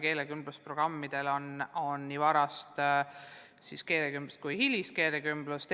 Keelekümblusprogrammides rakendatakse erinevate meetmetega nii varast kui hilist keelekümblust.